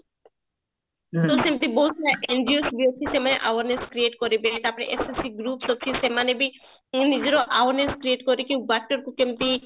ତ ସେମତି ବହତ ସାରା NGO ବି ଅଛି ସେମାନେ awareness create କରିବେ ତାପରେ SSG group ସେମାନେ ବି ନିଜର awareness create କରିକି water କୁ କେମତି